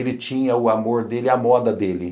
Ele tinha o amor dele, a moda dele.